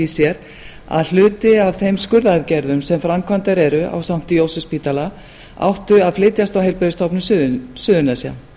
sér að hluti af þeim skurðaðgerðum sem framkvæmdar eru á sankti jósefsspítala áttu að flytjast á heilbrigðisstofnun suðurnesja